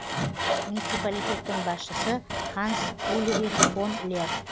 муниципалитеттің басшысы ханс ульрих фон лер